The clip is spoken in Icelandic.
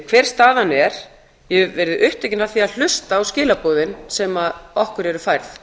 hver staðan er ég hef verið upptekin af því að hlusta á skilaboðin sem okkur eru færð